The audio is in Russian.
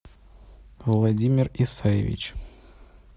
владимир исаевич